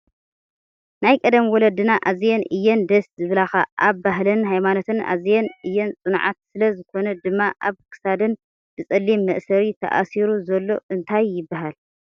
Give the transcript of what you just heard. ናይ ቀደም ወለድና ኣዝየን እየን ደስ ዝብላካ ኣብ ባህለንን ሃይማኖተንን ኣዝየን እየን ፅኑዓት ስለ ዝኮነ ድማ ኣብ ክሳደን ብፀሊም መእሰሪ ተኣሲሩ ዘሎ እንታይ ይብሃል?